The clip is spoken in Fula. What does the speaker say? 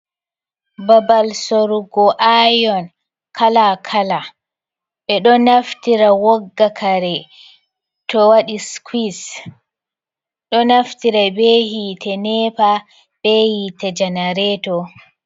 Babal sorugo ayon kalakala ,be do naftira wogga kare to wadi skuis do naftira be hite neepa be hite janareeto.